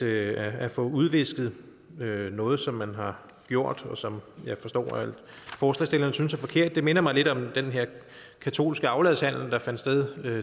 at få udvisket noget som man har gjort og som jeg forstår at forslagsstillerne synes er forkert minder mig lidt om den her katolske afladshandel der fandt sted